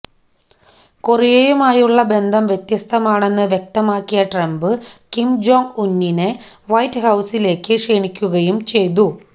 കൊറിയയുമായുള്ള ബന്ധം വ്യത്യസ്തമാണെന്ന് വ്യക്തമാക്കിയ ട്രംപ് കിം ജോങ് ഉന്നിനെ വൈറ്റ് ഹൌസിലേക്ക് ക്ഷണിക്കുകയും ചെയ്തു